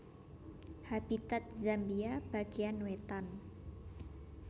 Habitat Zambia bagéyan wétan